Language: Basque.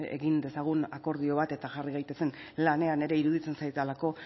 egin dezagun akordio bat eta jarri gaitezen lanean ere iruditzen zaidalako